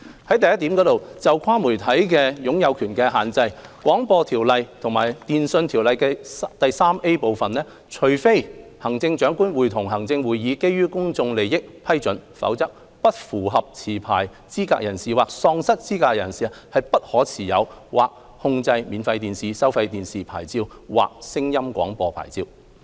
第一，就"跨媒體擁有權的限制"，《廣播條例》及《電訊條例》第 3A 部規定，除非行政長官會同行政會議基於公眾利益批准，否則"不符合持牌資格人士"或"喪失資格的人"不可持有或控制免費電視、收費電視牌照或聲音廣播牌照。